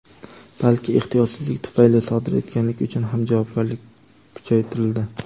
balki ehtiyotsizlik tufayli sodir etganlik uchun ham javobgarlik kuchaytirildi.